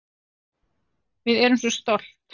Við erum svo stolt